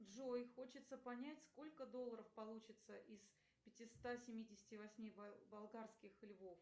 джой хочется понять сколько долларов получится из пятиста семидесяти восьми болгарских львов